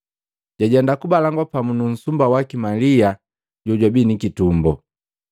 Jajenda kubalangwa pamu nu nsumba waki Malia jojwabi ni kitumbo.